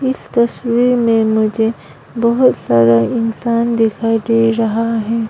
इस तस्वीर में मुझे बहुत सारा इंसान दिखाई दे रहा है।